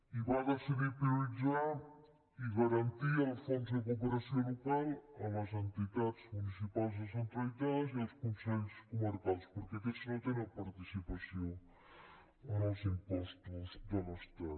i va decidir prioritzar i garantir el fons de cooperació local a les entitats municipals descentralitzades i als consells comarcals perquè aquests no tenen participació en els impostos de l’estat